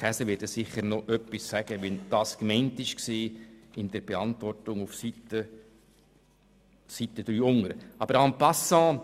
Käser wird sicher noch seine Beantwortung auf Seite 3 unten erläutern.